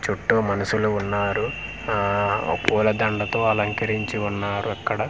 చుట్టూ మనుషులు ఉన్నారు ఆఆ పూల దండ తో అలంకరించి ఉన్నారు అక్కడ చూడండి.